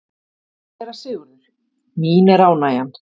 SÉRA SIGURÐUR: Mín er ánægjan.